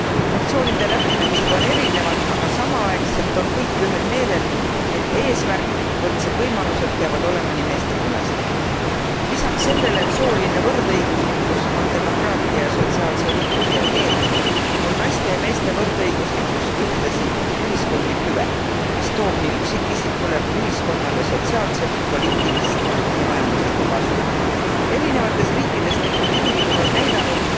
Fraktsioonide lähenemised on erinevad, aga samaaegselt on kõik ühel meelel, et eesmärk võrdsed võimalused peavad olema nii meestel kui ka naistel. Lisaks sellele, et sooline võrdõiguslikkus on demokraatia ja sotsiaalse õigluse eeldus, on naiste ja meeste võrdõiguslikkus ühtlasi ühiskondlik hüve, mis toob nii üksikisikule kui ka ühiskonnale sotsiaalset, poliitilist ja majanduslikku kasu. Erinevates riikides tehtud uuringud on näidanud,